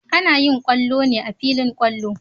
Ana yin kwallo ne a filin kwallo.